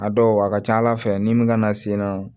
A dɔw a ka ca ala fɛ ni min kana se nɔ